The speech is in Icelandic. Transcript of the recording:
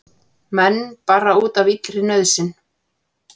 Menn bara úti af illri nauðsyn